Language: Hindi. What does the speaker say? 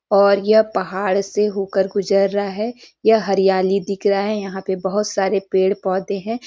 और यह पहाड़ से होकर गुजर रहा है यह हरियाली दिख रहा है यहाँ पे बोहोत सारे पेड़ -पौधे हैं।